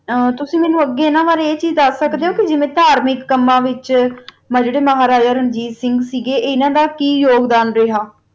ਆ ਤੁਸੀਂ ਮੇਨੋ ਅਗ ਅਨਾ ਬਾਰਾ ਆ ਚੀਜ਼ ਦਸ ਸਕਦਾ ਓਹੋ ਜੀਵਾ ਕਰ ਦਾ ਕਮਾ ਵਿਤਚ ਜਰਾ ਮਹਾਰਾਜਾ ਰਣਜੀਤ ਸਿੰਘ ਸੀ ਜਰਾ ਓਨਾ ਦਾ ਕੀ ਯੋਘ੍ਦਾਂ ਸੀ ਗਾ